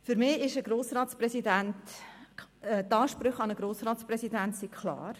Für mich sind die Ansprüche an einen Grossratspräsidenten klar: